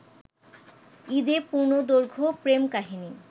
ঈদে পূর্ণদৈর্ঘ্য প্রেম কাহিনী